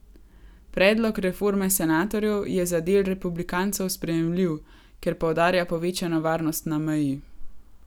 Predlog reforme senatorjev je za del republikancev sprejemljiv, ker poudarja povečano varnost na meji.